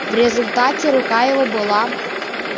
в результате рука его была